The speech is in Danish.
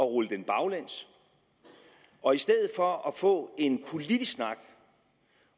rulle den baglæns og i stedet for at få en politisk snak